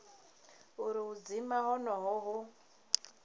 uri u dzima honoho hu